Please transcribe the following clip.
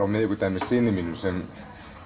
á miðvikudag með syni mínum sem